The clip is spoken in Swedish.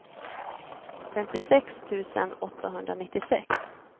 femtiosex tusen åttahundranittiosex